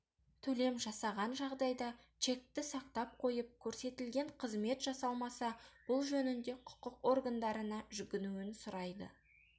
төлем жасаған жағдайда чекті сақтап қойып көрсетілген қызмет жасалмаса бұл жөнінде құқық органдарына жүгінуін сұрайды